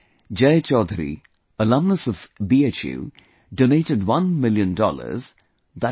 Jai Chaudhary, alumnus of BHU, donated one million dollars i